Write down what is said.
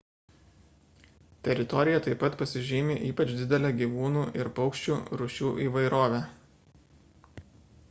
teritorija taip pat pasižymi ypač didele gyvūnų ir paukščių rūšių įvairove